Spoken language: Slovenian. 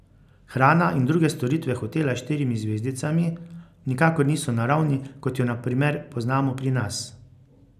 Hrana in druge storitve hotela s štirimi zvezdicami nikakor niso na ravni, kot jo na primer poznamo pri nas.